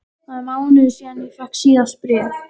Það er mánuður síðan ég fékk síðast bréf.